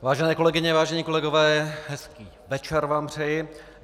Vážené kolegyně, vážení kolegové, hezký večer vám přeji.